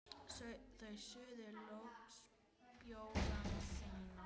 Þau suðu loks bjórana sína.